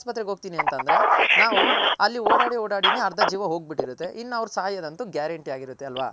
ಹಾಸ್ಪತ್ರೆಗ್ ಹೋಗ್ ಹೋಗ್ತೀನಿ ಅಂತಂದ್ರೆ ನಾವು ಅಲ್ಲಿ ಓಡಾಡಿ ಓಡಾಡಿನೆ ಅರ್ದ ಜೀವ ಹೋಗ್ ಬಿಟ್ಟಿರುತ್ತೆ ಇನ್ ಅವ್ರ್ ಸಾಯೋದೊಂತು guaranty ಆಗಿರುತಲ್ವ.